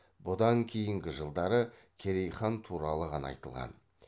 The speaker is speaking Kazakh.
бұдан кейінгі жылдары керей хан туралы ғана айтылған